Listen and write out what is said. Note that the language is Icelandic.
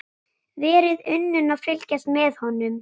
Verið unun að fylgjast með honum.